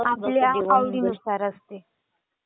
आपल्या आवडीनुसार असते.